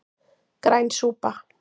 Græn súpa